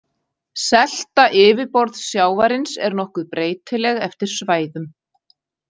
Selta yfirborðssjávarins er nokkuð breytileg eftir svæðum.